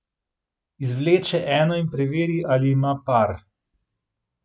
Izvleče eno in preveri, ali ima par.